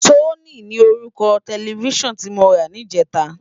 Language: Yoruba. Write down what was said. Sónì ni órúkò tèlèfisán ti mó rá nijètá